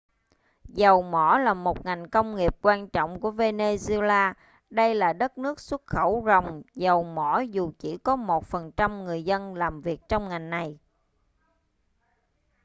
dầu mỏ là một ngành công nghiệp quan trọng của venezuela đây là đất nước xuất khẩu ròng dầu mỏ dù chỉ có 1% người dân làm việc trong ngành này